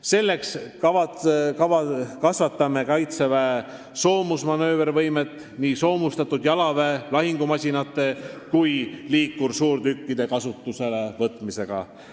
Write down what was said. Selleks kasvatame Kaitseväe soomusmanöövervõimet nii soomustatud jalaväe lahingumasinate kui ka liikursuurtükkide kasutuselevõtuga.